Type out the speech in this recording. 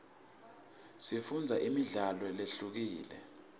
sifundzo nemidlalo lehlukile